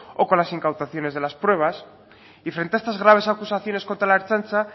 o con las incautaciones de las pruebas y frente a estas graves acusaciones contra la ertzaintza